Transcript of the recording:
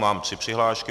Mám tři přihlášky.